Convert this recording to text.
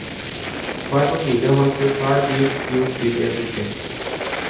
Hver familie har kjørt hver bil i opptil en uke.